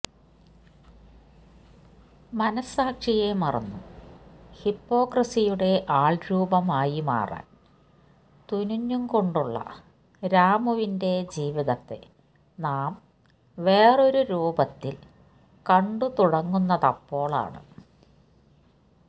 മനസ്സാക്ഷിയെ മറന്നും ഹിപ്പോക്രസിയുടെ ആൾരൂപമായി മാറാൻ തുനിഞ്ഞുംകൊണ്ടുള്ള രാമുവിന്റെ ജീവിതത്തെ നാം വേറൊരു രൂപത്തിൽ കണ്ടുതുടങ്ങുന്നതപ്പോൾ ആണ്